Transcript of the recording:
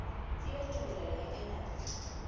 fiwa tumelelo ya kalafi ya